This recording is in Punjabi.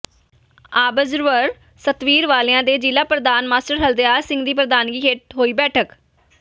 ਆਬਜ਼ਰਵਰ ਸਤਵੀਰ ਵਾਲੀਆ ਤੇ ਜ਼ਿਲ੍ਹਾ ਪ੍ਰਧਾਨ ਮਾਸਟਰ ਹਰਦਿਆਲ ਸਿੰਘ ਦੀ ਪ੍ਰਧਾਨਗੀ ਹੇਠ ਹੋਈ ਬੈਠਕ